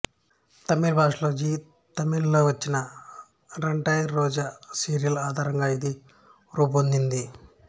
తమిళ భాషలో జీ తమిళ్ లో వచ్చిన రెట్టాయ్ రోజా సీరియల్ ఆధారంగా ఇది రూపొందింది